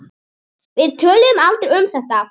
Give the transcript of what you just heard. Við töluðum aldrei um þetta.